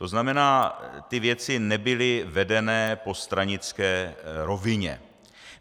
To znamená, ty věci nebyly vedeny po stranické rovině.